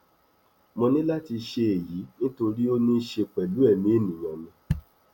mo ní láti ṣe èyí nítorí ó ní í ṣe pẹlú ẹmí èèyàn ni